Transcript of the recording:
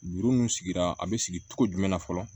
Juru mun sigira a be sigi cogo jumɛn na fɔlɔ